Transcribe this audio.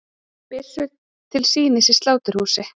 Byssur til sýnis í sláturhúsi